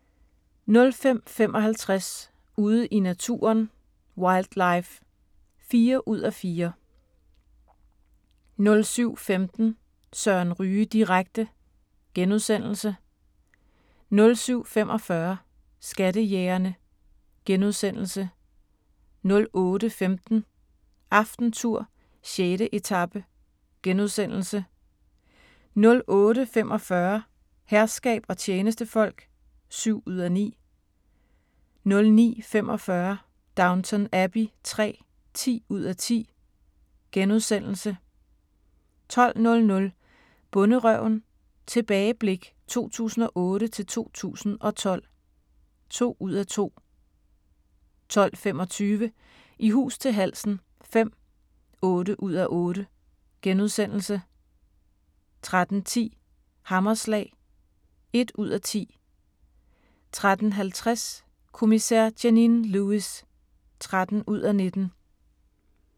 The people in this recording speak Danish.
05:55: Ude i naturen: Wildlife (4:4) 07:15: Søren Ryge direkte * 07:45: Skattejægerne * 08:15: AftenTour: 6. etape * 08:45: Herskab og tjenestefolk (7:9) 09:45: Downton Abbey III (10:10)* 12:00: Bonderøven – tilbageblik 2008-2012 (2:2) 12:25: I hus til halsen V (8:8)* 13:10: Hammerslag (1:10) 13:50: Kommissær Janine Lewis (13:19)